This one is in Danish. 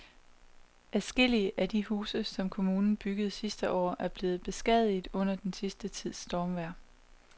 Adskillige af de huse, som kommunen byggede sidste år, er blevet beskadiget under den sidste tids stormvejr.